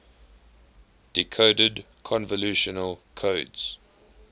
decoded convolutional codes